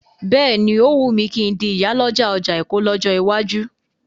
Bẹ́ẹ̀ni,ó wùn mí kí n di ìyàlọ́jà ọjà Èkó lọ́jọ́ iwájú.